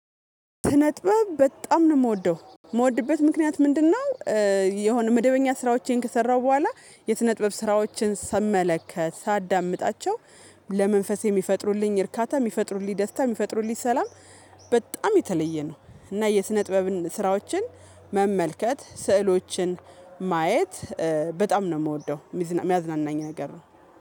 ስነጥበብ በጣም ነው የምወደው የምወድበት ምክንያት ምንድነው? የሆነ መደበኛ ስራዎቼን ከሰራሁ በኋላ የስነጥበብ ስራዎችን ስመለከት ሳዳምጣቸው ለመንፈሴ የሚፈጥሩልኝ እርካታ የሚፈጥሩልኝ ደስታ የሚፈጥሩልኝ ሰላም። በጣም የተለየ ነው እና የስነ ጥበብን ስራዎችን። መመልከት ስዕሎችን ማየት በጣም ነው የምወደው የሚያዝናናኝ ነገር ነው።